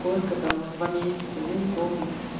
сколько том может два месяца я не помню